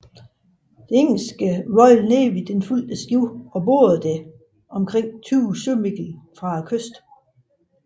Det engelske Royal Navy fulgte skibet og bordede det små 20 sømil fra kysten